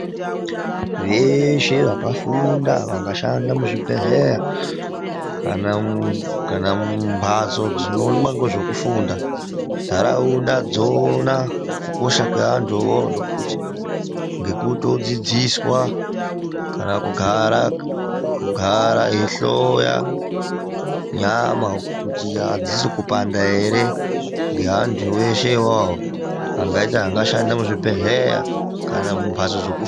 Veshe vakafunda vakashanda muzvibhedhlera kana mumbatso dzinoonekwa nozvokufunda mundaraunda dzona kukosha kwevanduwo ngekuti vodzidziswa kana kugara eihloya nyama kuti adzisi kupanda ere ngeandu eshe iwayo angashanda muzvibhedhlera kana mumbatso dzokufundira.